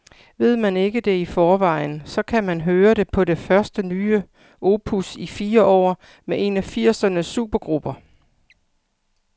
Ved man ikke det i forvejen, så kan man høre det på det første nye opus i fire år med en af firsernes supergrupper.